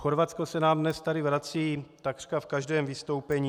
Chorvatsko se nám tady dnes vrací takřka v každém vystoupení.